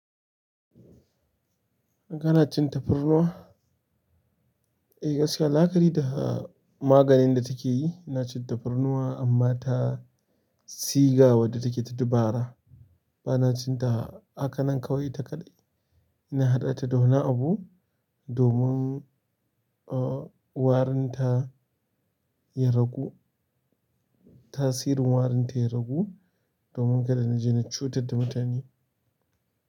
Kana cin tafarnuwa? Eh gaskiya, la'akari da maganin da take yi, ina cin tafarnuwa amma ta siga wadda take ta dabara. Bana cin ta, haka nan kawai ita kaɗai. Ina haɗa ta da wani abu domin, uh, warin ta ya ragu. Tasirin warin ta ya ragu domin kada na je na cutar da mutane.